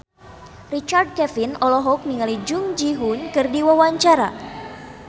Richard Kevin olohok ningali Jung Ji Hoon keur diwawancara